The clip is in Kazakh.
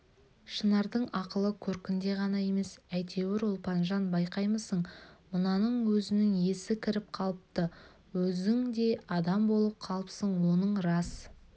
шынардың ақылы көркінде ғана емес әйтеуір ұлпанжан байқаймысың мынаның өзінің есі кіріп қалыпты өзің де адам болып қалыпсың оның рас